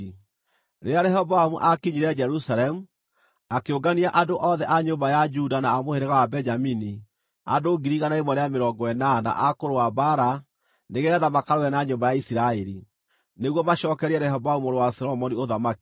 Rĩrĩa Rehoboamu aakinyire Jerusalemu, akĩũngania andũ othe a nyũmba ya Juda na a mũhĩrĩga wa Benjamini andũ 180,000 a kũrũa mbaara nĩgeetha makarũe na nyũmba ya Isiraeli, nĩguo macookerie Rehoboamu mũrũ wa Solomoni ũthamaki.